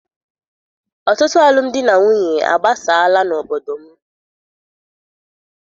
Ọtụtụ alụmdi na nwunye agbasaala n'obodo m.